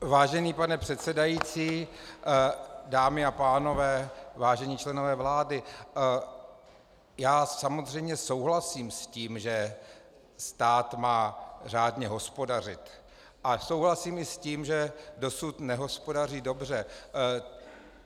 Vážený pane předsedající, dámy a pánové, vážení členové vlády, já samozřejmě souhlasím s tím, že stát má řádně hospodařit, a souhlasím i s tím, že dosud nehospodaří dobře.